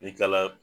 I kilala